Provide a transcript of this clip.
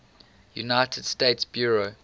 united states bureau